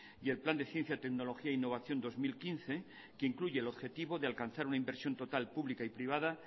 y el plan de ciencia tecnología e innovación dos mil quince que incluye el objetivo de alcanzar una inversión total pública y privada